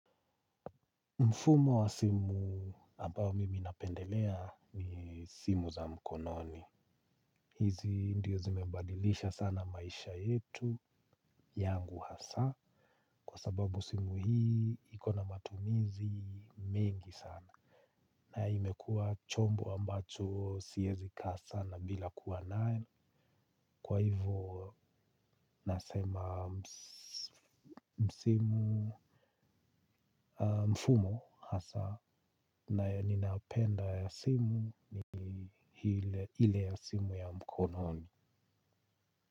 Mfumo wa simu ambao mimi napendelea ni simu za mkononi. Hizi ndio zimebadilisha sana maisha yetu yangu hasa kwa sababu simu hii ikona matumizi mengi sana. Na imekuwa chombo ambacho siezi kaa sana bila kuwa nayo. Kwa hivo nasema mfumo hasa nayo ninapenda ya simu ni ile ya simu ya mkononi.